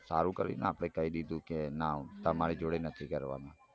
સારું કાંઈ દીધું કે ના તમારી જોડે નથી કરવાના